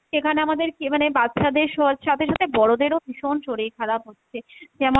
সেখানে আমাদেরকে মানে বাচ্চাদের স~ সাথে সাথে বড়োদেরও ভীষণ শরীর খারাপ হচ্ছে যেমন,